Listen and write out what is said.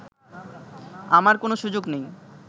আমার কোনো সুযোগ নেই